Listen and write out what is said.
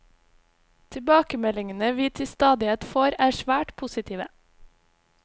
Tilbakemeldingene vi til stadighet får er svært positive.